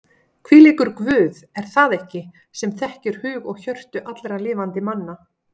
Hvílíkur Guð er það ekki sem þekkir hug og hjörtu allra lifandi manna?